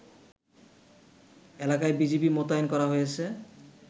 এলাকায় বিজিবি মোতায়েন করা হয়েছে